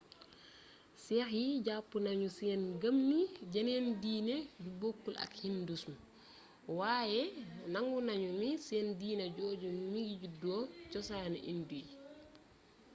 sikh yi jàppee nañu seen ngëm ni jeneen diine ju bokkul ak hindouisme waaye nangu nañu ni seen diine jooju mingi juddoo cosaanu hindoue yi